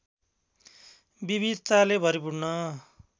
विविधताले भरिपूर्ण